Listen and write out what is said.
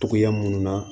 Togoya munnu na